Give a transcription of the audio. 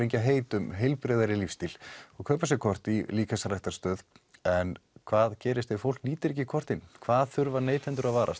heit um heilbrigðari lífstíl og kaupa sér kort í líkamsræktarstöðvum en hvað gerist ef fólk nýtir ekki kortin hvað þurfa neytendur að varast